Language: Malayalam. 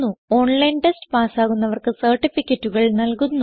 ഓൺലൈൻ ടെസ്റ്റ് പാസ്സാകുന്നവർക്ക് സർട്ടിഫികറ്റുകൾ നല്കുന്നു